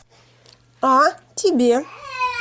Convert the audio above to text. а тебе